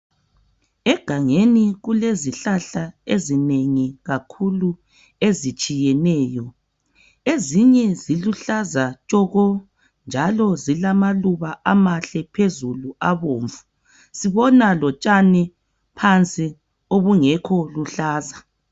Egangeni kulezihlahla ezinengi kakhulu ezitshiyeneyo. Ezinye ziluhlaza tshoko njalo zilamaluba amahle phezulu abomvu. Sibona lotshani phansi obungekho luhlaza.